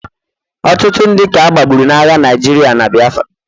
Ọtụtụ ndị ka agbagburu n'agha Naịjirịa na Biafra